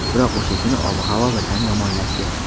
Biroq o‘sha kuni ob-havo birdan yomonlashdi.